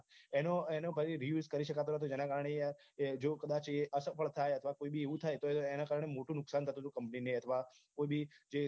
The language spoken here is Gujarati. એનો એનો પછી reuse કરી શકાતો નથી તેના કારણે યાર જો કદાચ એ અસફળ થાય અથવા કોઈ બી એવું થાય તો એના કારને મોટું નુકસાન થતું હતું company ને અથવા કોઈ બી જે